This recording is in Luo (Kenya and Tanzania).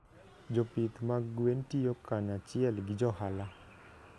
Jopith mag gwen tiyo kanyachiel gi johala.